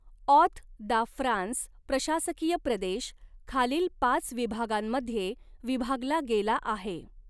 ऑत de France प्रशासकीय प्रदेश खालील पाच विभागांमध्ये विभागला गेला आहे.